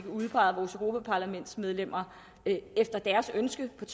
udpeget vores europaparlamentsmedlemmer efter deres ønske på